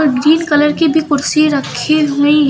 Green colour की भी कुर्सी रखी हुई हैं।